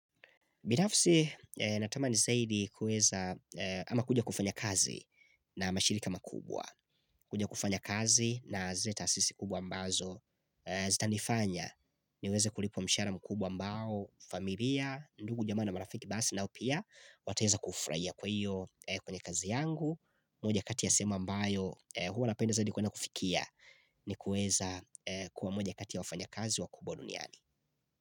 Binafsi natamani zaidi kueza ama kuja kufanya kazi na mashirika makubwa. Kuja kufanya kazi na zile taasisi kubwa ambazo zitanifanya. Niweze kulipwa mshahara mkubwa ambao familia, ndugu jamaa na marafiki basi nao pia wataweza kufurahia kwa hiyo kwenye kazi yangu. Moja kati ya sehemu ambayo huwa napenda zaidi kuenda kufikia ni kueza kua mmoja kati ya wafanya kazi wakubwa duniani.